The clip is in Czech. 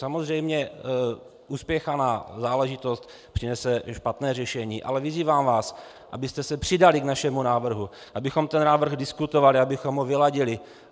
Samozřejmě uspěchaná záležitost přinese špatné řešení, ale vyzývám vás, abyste se přidali k našemu návrhu, abychom ten návrh diskutovali, abychom ho vyladili.